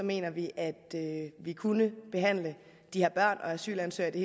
mener vi at vi kunne behandle de her børn og asylansøgere i